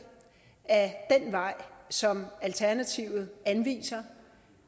at den vej som alternativet anviser